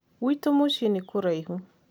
gwitũ mũcĩĩ nĩ kũraihu